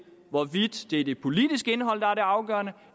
hvorvidt det er det politiske indhold afgørende